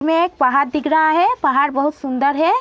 में एक पहाड़ दिख रहा है। पहाड़ बहुत सुंदर है।